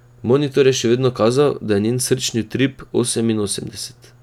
Monitor je še vedno kazal, da je njen srčni utrip oseminosemdeset.